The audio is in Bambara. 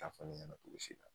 Taa fɔ ne ɲɛna k'u bɛ se n na